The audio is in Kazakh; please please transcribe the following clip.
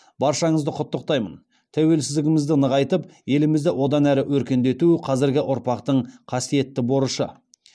баршаңызды құттықтаймын тәуелсіздігімізді нығайтып елімізді одан әрі өркендету қазіргі ұрпақтың қасиетті борышы